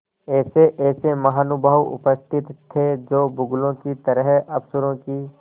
ऐसेऐसे महानुभाव उपस्थित थे जो बगुलों की तरह अफसरों की